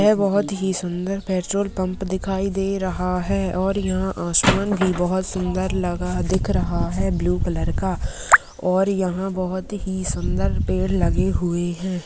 यह बहुत ही सुंदर पेट्रोल पंप दिखाई दे रहा है और यहां आसमान भी बहुत सुन्दर लगा दिख रहा है ब्लू कलर का और यहां बहुत ही सुंदर पेड़ लगे हुए हैं।